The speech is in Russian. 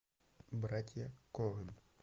братья коэн